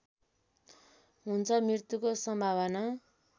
हुन्छ मृत्युको सम्भावना